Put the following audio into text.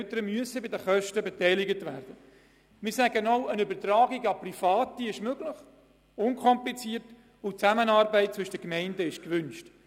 Eine Übertragung an Private ist möglich, und die Zusammenarbeit zwischen den Gemeinden ist erwünscht.